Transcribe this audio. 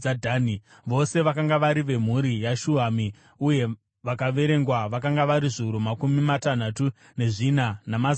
Vose vakanga vari vemhuri yaShuhami; uye vakaverengwa vakanga vari zviuru makumi matanhatu nezvina, namazana mana.